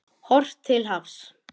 Horft til hafs.